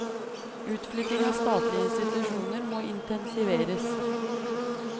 Utflytting av statlige institusjoner må intensiveres.